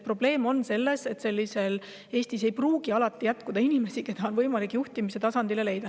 Probleem on selles, et Eestis ei pruugi jätkuda inimesi, keda on võimalik juhtimistasandile leida.